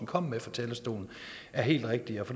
kom med fra talerstolen er helt rigtige